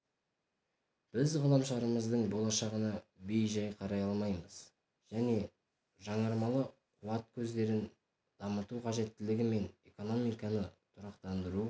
біз ғаламшарымыздың болашағына бейжай қарай алмаймыз және жаңармалы қуат көздерін дамыту қажеттілігі мен экономиканы тұрақтандыру